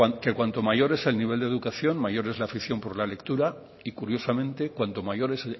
que cuanto mayor es el nivel de educación mayor es la afición por la lectura y curiosamente cuanto mayor es